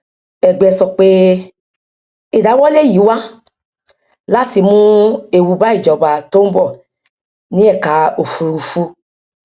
ẹgbẹ sọ pé ìdáwọlé yìí wá láti mú ewu bá ìjọba tó ń bọ ní ẹka òfùrúfú